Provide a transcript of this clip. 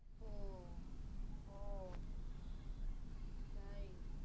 ও ও তাই?